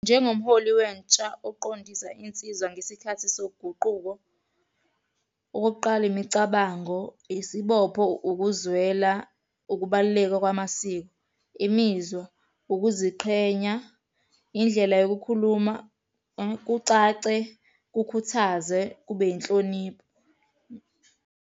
Njengomholi wentsha oqondisa insizwa ngesikhathi soguquko, okokuqala, imicabango, isibopho, ukuzwela, ukubaluleka kwamasiko, imizwa, ukuziqhenya, indlela yokukhuluma kucace, kukhuthaze, kube yinhlonipho.